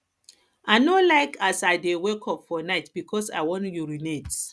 i no like as i dey wake up for night because i wan urinate